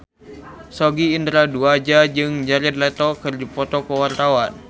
Sogi Indra Duaja jeung Jared Leto keur dipoto ku wartawan